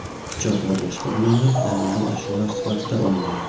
pichoq va boshqa buyumlar daliliy ashyolar sifatida olingan.